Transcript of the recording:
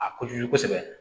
A kojugu kosɛbɛ